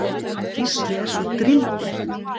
Gísli er svo drýldinn.